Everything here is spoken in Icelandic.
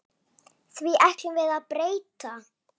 Því ætlum við að breyta.